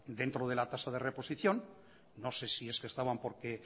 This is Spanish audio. dentro de la tasa de reposición no sé si es que estaban porque